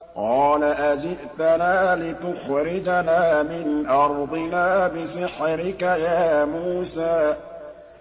قَالَ أَجِئْتَنَا لِتُخْرِجَنَا مِنْ أَرْضِنَا بِسِحْرِكَ يَا مُوسَىٰ